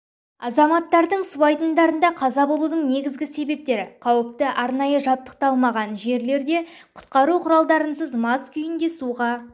азаматтардың су айдындарында қаза болудың негізгі себептері қауіпті арнайы жабдықталмаған жерлерде құтқару құралдарынсыз мас күйінде суға